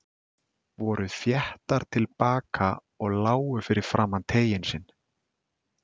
Voru þéttar til baka og lágu fyrir framan teiginn sinn.